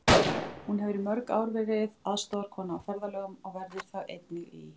Hún hefur í mörg ár verið aðstoðarkona á ferðalögum og verður það einnig í